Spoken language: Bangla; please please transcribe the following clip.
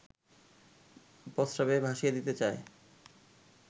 প্রস্রাবে ভাসিয়ে দিতে চায়